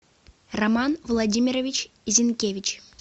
роман владимирович зинкевич